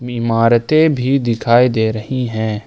इमारतें भी दिखाई दे रही हैं।